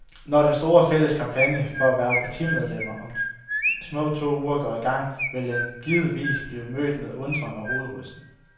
Når den store, fælles kampagne for at hverve partimedlemmer om små to uger går i gang, vil den givetvis blive mødt med undren og hovedrysten.